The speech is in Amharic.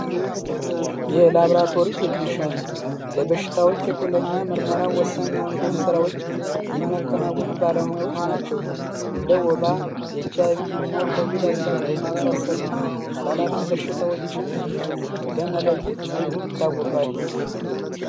የላብራትሪት ቴክንሽያን ለበሽታዎች ትክለኛ ምርመራብ ወሳኝ የሆኑትን ሥራዎች የሚያከናውኑ ባለሙያዎች ናቸው። እንደ ወባ እና ኮቪድ- 19 የመሳሰሉ ተላላፊ በሽታዎችን በመለየት ይታወቃሉ።